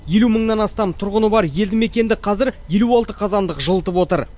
елу мыңнан астам тұрғыны бар елді мекенді қазір елу алты қазандық жылытып отыр